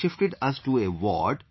They shifted us to a ward